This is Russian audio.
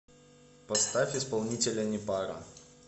поставь исполнителя непара